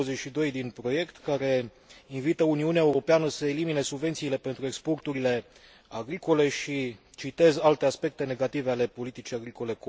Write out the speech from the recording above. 22 din proiect, care invită Uniunea Europeană să elimine subvențiile pentru exporturile agricole și alte aspecte negative ale politicii agricole.